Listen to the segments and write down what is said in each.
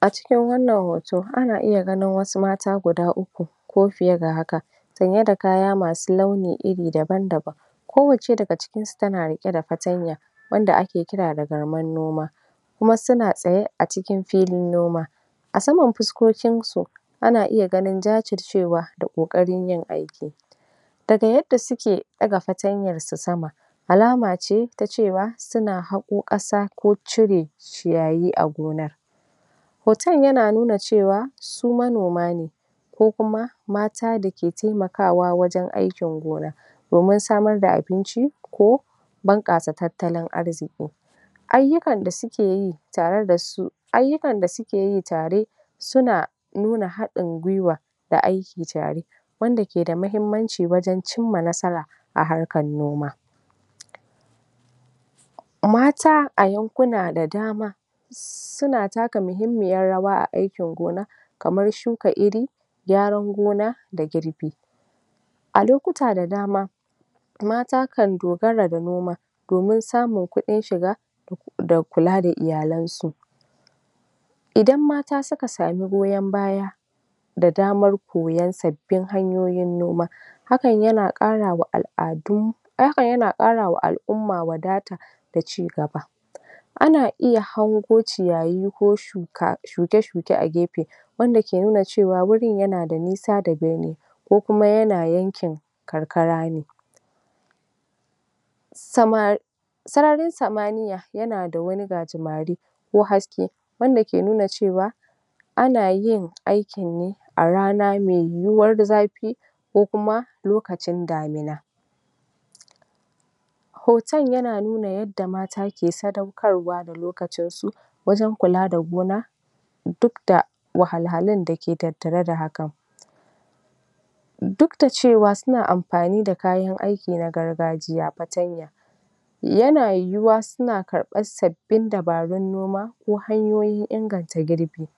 A cikin wannan hoto, ana iya ganin wasu mata guda uku ko fiye da haka sanye da kaya masu launi iri daban-daban Kowacce daga cikinsu tana riƙe da fartanya wadda ake kira da garman noma kuma suna tsaye a cikin filin noma. A saman fuskokinsu, ana iya ganin jajircewa da ƙoƙarin yin aiki. Daga yadda suke ɗaga fartanyarsu sama, alama ce ta cewa suna haƙo ƙasa ko cire ciyayi a gona Hoton yana nuna cewa su manoma ne ko kuma mata da ke taimakawa wajen aikin gona Domin samar da abinci ko bunƙasa tattalin arziki. Ayyukan da suke yi tare da su ayyukan da suke yi tare suna nuna haɗin gwiwa da aiki tare wanda ke da muhimmanci wajen cimma nasara a harkar noma. Mata a yankuna da dama suna taka muhimmiyar rawa a aikin gona kamar shuka iri, gyaran gona da girbi. A lokuta da dama, mata kan dogara da noma domin samun kuɗn shiga da kula da iyalansu. Idan mata suka samu goyon baya, da damar koyon sabbin hanyoyin noma hakan yana ƙara wa al'adu, hakan yana ƙara wa al'umma wadata da cigaba. Ana iya hango ciyayi ko shuka... shuke-shuke a gefe wanda ke nuna cewa wurin yana da nisa da binni. Ko kuma yana yankin karkara ne. Samari...sararin samaniya yana da wani gajimare ko haske wanda ke nuna cewa Ana yin aikin ne a rana mai yiwuwar zafi ko kuma lokacin damina. Hoton yana nuna yadda mata ke sadaukarwa da lokacinsu wajen kula da gona duk da wahalhalun da ke tattare da hakan. Duk da cewa suna amfani da kayan aiki na gargajiya, fartanya, yana yiwuwa suna karɓan sabbin dabarun noma ko hanyoyin inganta girbi.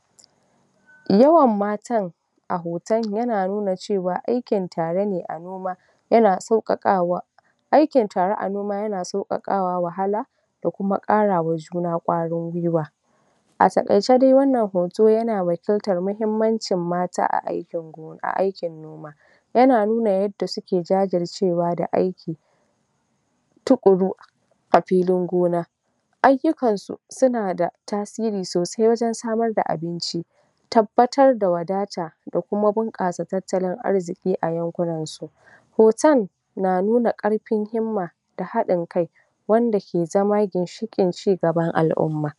Yawan matan a hoton yana nuna cewa aikin tare ne a noma Yana sauƙaƙwa. Aikin tare a noma yana sauƙaƙawa wahala da kuma ƙara wa juna ƙwarin gwiwa A taƙaice dai wannan hoto yana wakiltar muhimmancin mata a aikin gona a aikin noma. Yana nuna yadda suke jajircewa da aiki tuƙuru a filin gona. Ayyuakansu suna da tasiri sosai wajen samar da abinci, tabbatar da wadata da kuma bunƙasa tattalin arziki a yankunansu. Hoton na nuna ƙarfin himma da haɗin kai wanda ke zaman ginshiƙin cigaban al'umma.